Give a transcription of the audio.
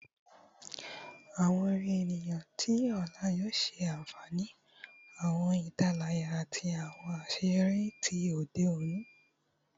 Awọn orin eniyan ti ọla yoo ṣe afihan awọn italaya ati awọn aṣeyọri ti ode oni